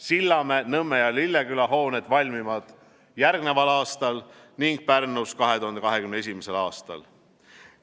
Sillamäe, Nõmme ja Lilleküla hooned valmivad järgneval aastal ning Pärnus 2021. aastal.